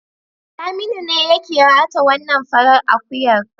Saminu ne ya kiwata wannan farar akuyar.